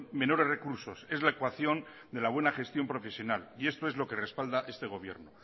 menores recursos es la ecuación de la buena gestión profesional y esto es lo que respalda este gobierno